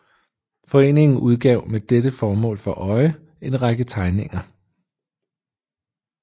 Foreningen udgav med dette mål for øje en række tegninger